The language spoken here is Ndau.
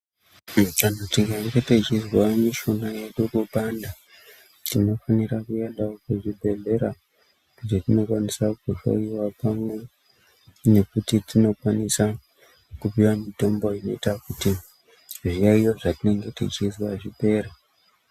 Kana tikange tichizwa mushuna yedu kupanda tinofanira kuendawo kuzvibhedhlera kwatinokwanisa kuhloiwa pamwe nekuti tinopuwa mutombo inoita kuti zviyaiyo zvatinenge teizwa zvipere.